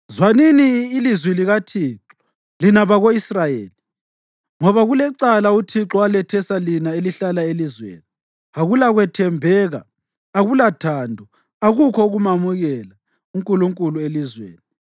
Zwanini ilizwi likaThixo, lina bako-Israyeli ngoba kulecala uThixo alethesa lina elihlala elizweni: “Akulakwethembeka, akulathando, akukho ukumamukela uNkulunkulu elizweni.